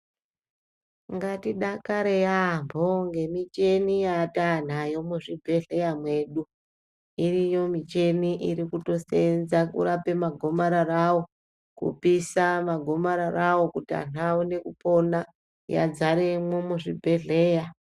Ngatidakare yaamho ngemicheni yataanayo muzvibhedhlera medu. Iriyo micheni irikutoseenza kurapa magomararawo, kupisa magomararawo kuti vantu vaone kupona yadzaremo muzvibhedhlera.